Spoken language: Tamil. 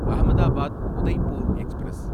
அஹமதாபாத் உதய்ப்பூர் எக்ஸ்பிரஸ்